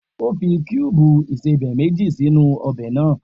O fi kuubu ìsẹbè meji sinu ọbẹ naa.